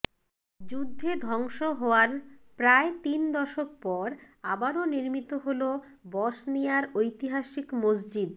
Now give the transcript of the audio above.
যুদ্ধে ধ্বংস হওয়ার প্রায় তিন দশক পর আবারো নির্মিত হলো বসনিয়ার ঐতিহাসিক মসজিদ